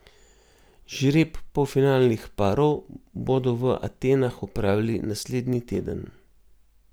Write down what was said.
Žreb polfinalnih parov bodo v Atenah opravili naslednji teden.